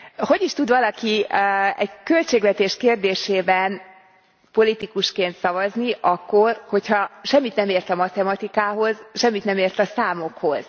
Hogy is tud valaki egy költségvetés kérdésében politikusként szavazni akkor, hogyha semmit nem ért a matematikához, semmit nem ért a számokhoz?